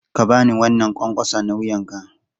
Ka ba ni wannan ƙwanƙwasa na wuyanka!